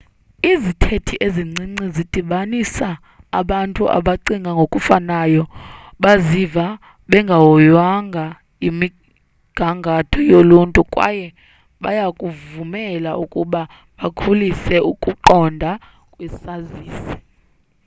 izithethe ezincinci zidibanisa abantu abacinga ngokufanayo baziva bengahoywanga yimigangatho yoluntu kwaye bayabavumela ukuba bakhulise ukuqonda kwesazisi